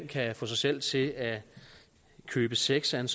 kan få sig selv til at købe sex af en